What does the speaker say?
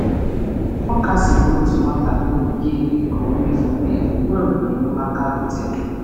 Ọ kasịrị nwa nọ ka ọ furu efu ruo mgbe enyemaka bịara.